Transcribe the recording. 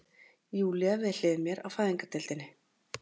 Júlía við hlið mér á fæðingardeildinni.